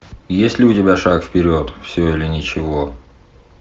есть ли у тебя шаг вперед все или ничего